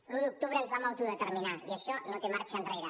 l’un d’octubre ens vam autodeterminar i això no té marxa enrere